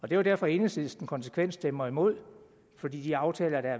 jo derfor enhedslisten konsekvent stemmer imod for de aftaler der